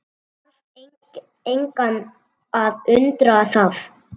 Þarf engan að undra það.